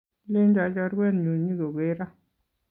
Kilenjo chorwenyu nyikogero